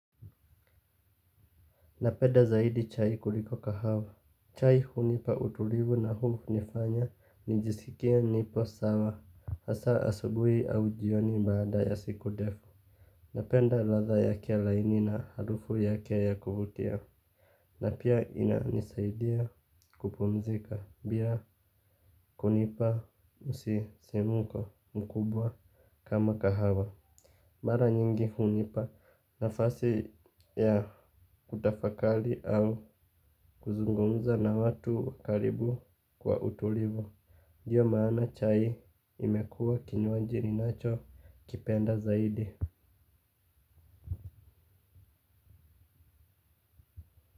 Napenda zaidi chai kuliko kahawa. Chai hunipa utulivu na hunifanya nijisikie nipo sawa. Hasa asubuhi au jioni baada ya siku defu. Napenda ladha yake laini na harufu yake ya kuvutia. Na pia inanisaidia kupumzika pia kunipa msisimko mkubwa kama kahawa mara nyingi hunipa nafasi ya kutafakari au kuzungumza na watu karibu kwa utulivu. Ndiyo maana chai imekuwa kinywaji ninachokipenda zaidi.